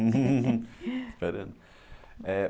Esperando, é